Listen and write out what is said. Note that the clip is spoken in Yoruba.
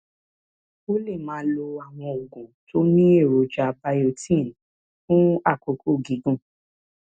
o lè máa lo àwọn oògùn tó ní èròjà biotin fún àkókò gígùn